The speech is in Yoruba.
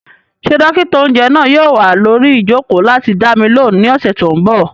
Ṣé dókítà-oúnjẹ náà yóò wà lórí ìjòkó láti dá mi lóhùn ní ọ̀sẹ̀ tó n bọ̀?